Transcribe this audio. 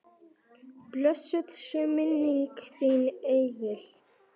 Blessuð sé minning þín engill.